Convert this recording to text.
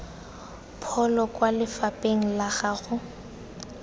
pholo kwa lefapheng la gago